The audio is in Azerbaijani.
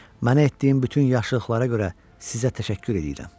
Mənə etdiyin bütün yaxşılıqlara görə sizə təşəkkür eləyirəm.